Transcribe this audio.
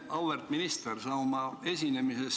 Auväärt minister!